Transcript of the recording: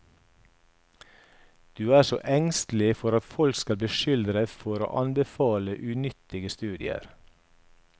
Du er så engstelig for at folk skal beskylde oss for å anbefale unyttige studier.